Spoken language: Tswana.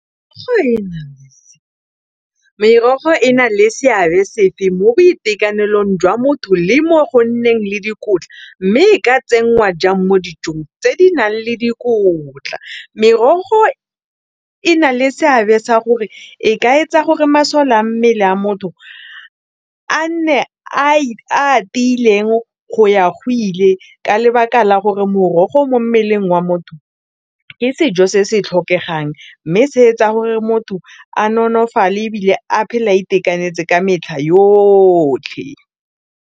Merogo e na le seabe sefe mo boitekanelong jwa motho le mo go nneng le dikotla mme ka tsenngwa jang mo dijong tse di nang le dikotla, merogo e na le seabe sa gore e ka etsa gore masole a mmele a motho a nne a tiileng go ya go ile ka lebaka la gore mo morogo mo mmeleng wa motho ke sejo se se tlhokegang mme se etsa gore motho a nonofale ebile a phela a itekanetse ka metlha yotlhe.